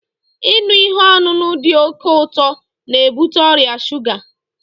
Ịṅụ ihe ọṅụṅụ dị oke ụtọ n'ebute ọrịa shuga